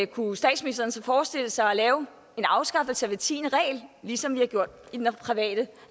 kunne statsministeren så forestille sig at lave en afskaffelse af hver tiende regel ligesom vi har gjort i det private